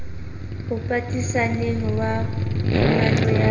o patisaneng wa phumano ya